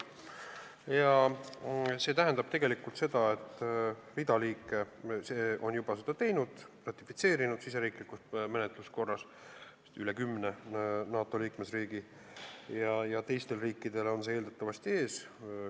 Hulk riike on seda juba teinud, nad on selle riigisisese menetluse korras ratifitseerinud, seda on teinud vist üle kümne NATO liikmesriigi, teistel riikidel seisab see eeldatavasti ees.